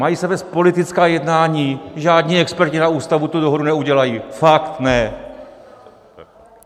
Mají se vést politická jednání, žádní experti na Ústavu tu dohodu neudělají, fakt ne.